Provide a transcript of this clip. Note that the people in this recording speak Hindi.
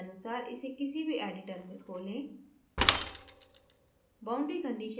अपने पसंदानुसार इसे किसी भी editor में खोलें